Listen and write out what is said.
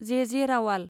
जे. जे. रावाल